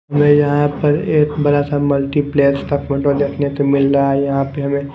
हमें यहाँ पर एक बड़ा सा मल्टीप्लेक्स का फोटो देखने को मिल रहा है यहाँ पे हमें--